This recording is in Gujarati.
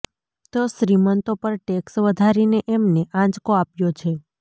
તો શ્રીમંતો પર ટેક્સ વધારીને એમને આંચકો આપ્યો છે